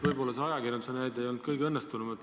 Võib-olla see ajakirjanduse näide ei olnud kõige õnnestunum.